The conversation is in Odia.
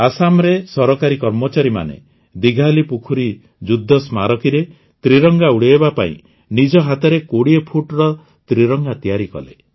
ଆସାମରେ ସରକାରୀ କର୍ମଚାରୀମାନେ ଦିଘାଲିପୁଖୁରୀ ଯୁଦ୍ଧ ସ୍ମାରକୀରେ ତ୍ରିରଙ୍ଗା ଉଡ଼ାଇବା ପାଇଁ ନିଜ ହାତରେ ୨୦ ଫୁଟର ତ୍ରିରଙ୍ଗା ତିଆରି କଲେ